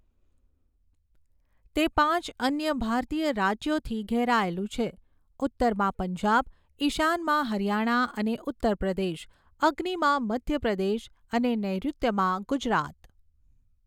તે પાંચ અન્ય ભારતીય રાજ્યોથી ઘેરાયેલું છે, ઉત્તરમાં પંજાબ, ઈશાનમાં હરિયાણા અને ઉત્તર પ્રદેશ, અગ્નિમાં મધ્ય પ્રદેશ અને નૈઋત્યમાં ગુજરાત.